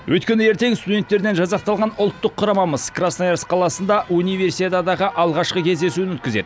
өйткені ертең студенттерден жасақталған ұлттық құрамамыз красноярск қаласында универсиададағы алғашқы кездесуін өткізеді